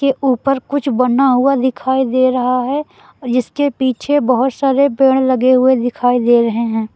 ये ऊपर कुछ बना हुआ दिखाई दे रहा है और जिसके पीछे बहुत सारे पेड़ लगे हुए दिखाई दे रहे हैं।